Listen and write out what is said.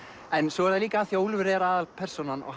svo líka af því Úlfur er aðalpersónan og